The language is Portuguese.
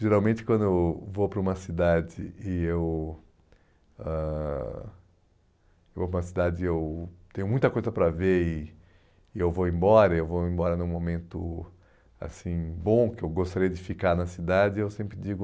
Geralmente quando eu vou para uma cidade e eu ãh eu vou para uma cidade e eu tenho muita coisa para ver e e eu vou embora, eu vou embora num momento assim bom, que eu gostaria de ficar na cidade, eu sempre digo...